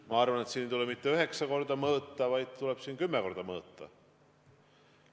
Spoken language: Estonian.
Ma arvan, et siin ei tule mitte üheksa korda mõõta, vaid siin tuleb kümme korda mõõta.